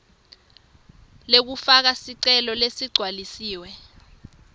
lekufaka sicelo leligcwalisiwe